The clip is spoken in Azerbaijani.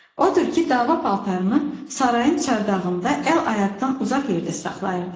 Odur ki, dava paltarını sarayın çardağında əl-ayaqdan uzaq yerdə saxlayırdı.